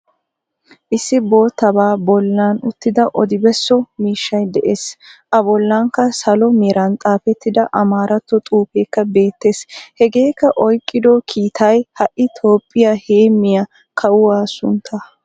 Issi bottabaa bollan uttida oodi beesso miishshay de'ees. A bollanikka salo meraan xafetida amaaratto xufekka beettees. Hegeekka oyqqido kiittaay ha'i toophiya heemmiyaa kaawuwaa sunttaa.